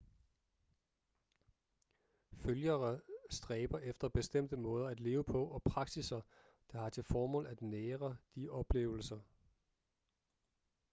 følgere stræber efter bestemte måder at leve på og praksisser der har til formål at nære de oplevelser